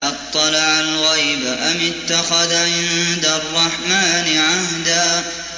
أَطَّلَعَ الْغَيْبَ أَمِ اتَّخَذَ عِندَ الرَّحْمَٰنِ عَهْدًا